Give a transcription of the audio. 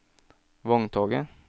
vogntoget